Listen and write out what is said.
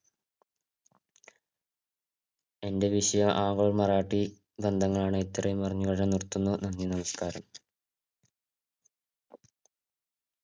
എന്റെ വിഷയം ആംഗ്ലോ മറാഠി ബന്ധങ്ങളാണ് ഇത്രയും പറഞ്ഞ് ഞാൻ നിർത്തുന്നു നന്ദി നമസ്കാരം